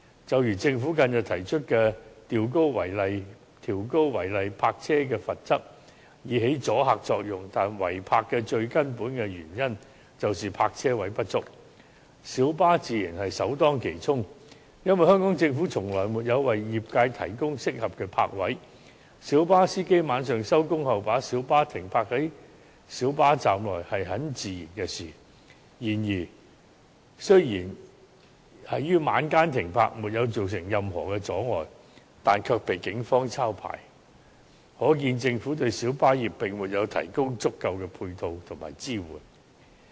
正如政府近日提出調高違例泊車的罰則以起阻嚇作用，但違泊的最根本原因是泊車位不足，小巴自然首當其衝，因為香港政府從來沒有為業界提供適合的泊位，小巴司機晚上放工後，把小巴停泊在小巴站內是很自然的事，但雖然只是在晚間停泊，又沒有造成任何阻礙，但卻被警方抄牌，可見政府對小巴業並沒有提供足夠的配套和支援。